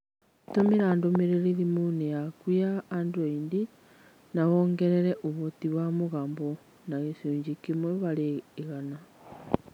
Tũmĩra ndũmĩrĩri thimũ-inĩ yaku ya Android na wongerere ũhoti wa mũgambo na gĩcunjĩ kĩmwe harĩ igana.